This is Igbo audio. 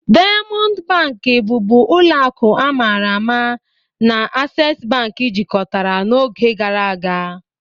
Diamọndụ Bankị, bụbu ụlọ akụ a mara ama, na Aksesị Bankị jikọtara ọnụ n'oge gara aga.